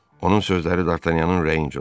Onun sözləri D'Artanyanın ürəyincə oldu.